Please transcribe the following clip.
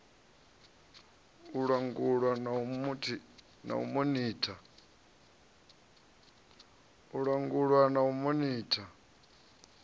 u langulwa na u monitha